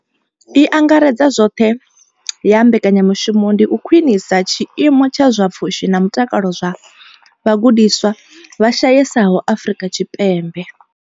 I angaredzaho zwoṱhe ya mbekanya mushumo ndi u khwinisa tshiimo tsha zwa pfushi na mutakalo zwa vhagudiswa vha shayesaho Afrika Tshipembe.